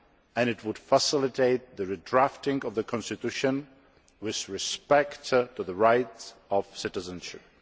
and it would facilitate the redrafting of the constitution with respect to the rights of citizenship.